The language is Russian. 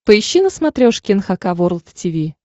поищи на смотрешке эн эйч кей волд ти ви